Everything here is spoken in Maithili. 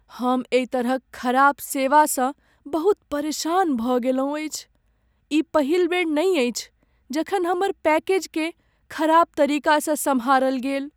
हम एहि तरहक खराब सेवासँ बहुत परेशान भऽ गेलहुँ अछि, ई पहिल बेर नहि अछि जखन हमर पैकेजकेँ खराब तरीकासँ सम्हारल गेल।